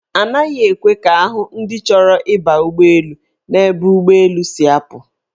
Anaghị ekwe ka ahụ ndị chọrọ ịba ụgbọelu n'ebe ụgbọelu si apụ.